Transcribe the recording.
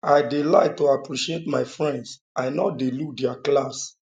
i dey like to appreciate my friends i no dey look their class